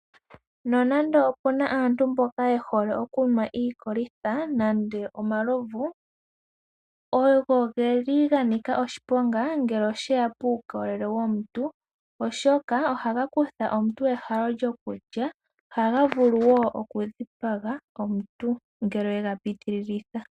Nonande opuna aantu mboka ye hole okunwa iikolitha nande omalovu, ogo geli ga nika oshiponga ngele oshe ya puukolele womuntu, oshoka ohaga kutha omuntu ehalo lyokulya. Ohaga vulu wo oku dhipaga omuntu, ngele we ga pitililitha.